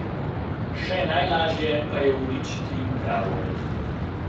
Še najlažje pa je uničiti pravo.